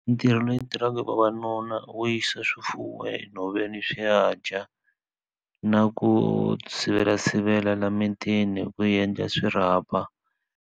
Ntirho leyi tirhaka hi vavanuna wo yisa swifuwo enhoveni swi ya dya na ku sivela sivela la emitini ku endla swirhapa